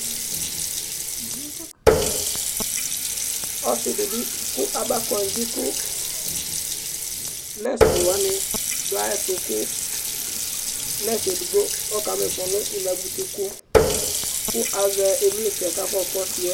Ɔsidi bi kʋ aba kɔndzi kʋ nɛsi alʋwani dʋ ayʋ ɛtʋ kʋ nɛsi edigbo ɔkama ifɔ nʋ inabʋti kʋ, kʋ azɛ ivlitsɛ kʋ afɔ yɔka ɔsiyɛ